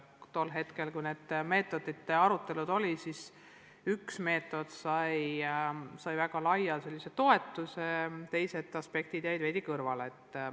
Tol hetkel, kui need meetodite arutelud olid, siis üks meetod sai väga laia toetuse, teised aspektid jäid veidi kõrvale.